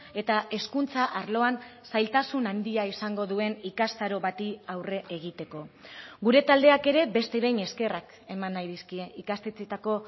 eta hezkuntza arloan zailtasun handia izango duen ikastaro bati aurre egiteko gure taldeak ere beste behin eskerrak eman nahi dizkie ikastetxeetako